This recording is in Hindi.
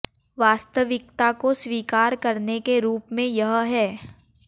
वास्तविकता को स्वीकार करने के रूप में यह है